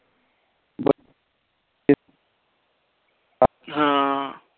ਹਾਂ